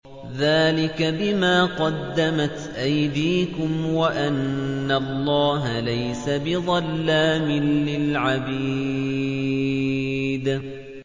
ذَٰلِكَ بِمَا قَدَّمَتْ أَيْدِيكُمْ وَأَنَّ اللَّهَ لَيْسَ بِظَلَّامٍ لِّلْعَبِيدِ